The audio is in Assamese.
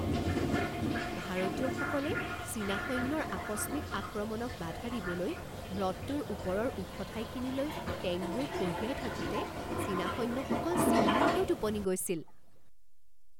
ভাৰতীয়সকলে চীনা সৈন্যৰ আকস্মিক আক্ৰমণক বাধা দিবলৈ হ্ৰদটোৰ ওপৰৰ ওখ ঠাইখিনিলৈ টেংকবোৰ কঢ়িয়াই থাকোতে চীনা সৈন্য়সকল চিলমিলকৈ টোপনি গৈছিল।